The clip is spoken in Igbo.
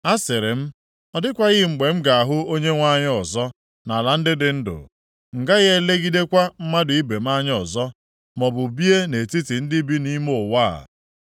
Asịrị m, “Ọ dịkwaghị mgbe m ga-ahụ Onyenwe anyị ọzọ nʼala ndị dị ndụ, m gaghị elegidekwa mmadụ ibe m anya ọzọ, maọbụ bie nʼetiti ndị bi nʼime ụwa a.